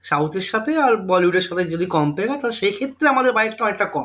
South এর সাথে আর bollywood এর সাথে যদি compare হয় তাহলে সেক্ষেত্রে আমাদের budget টা অনেকটা কম